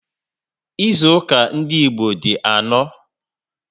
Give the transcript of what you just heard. Ịzụuka ndị Igbo di anọ